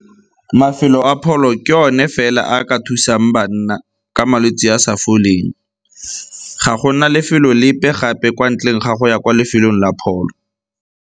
Mafelo a pholo ke one fela a ka thusang banna ka malwetse a a sa foleng, ga gona lefelo lepe gape kwa ntleng ga go ya kwa lefelong la pholo.